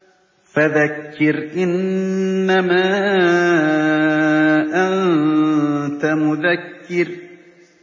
فَذَكِّرْ إِنَّمَا أَنتَ مُذَكِّرٌ